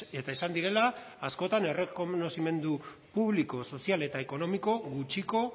eta izan direla askotan errekonozimendu publiko sozial eta ekonomiko gutxiko